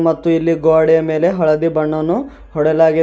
ಮತ್ತು ಇಲ್ಲಿ ಗೋಡೆ ಮೇಲೆ ಹಳದಿ ಬಣ್ಣವನ್ನು ಹೊಡೆಯಲಾಗಿದೆ.